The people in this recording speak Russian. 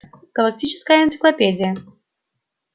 галактическая энциклопедия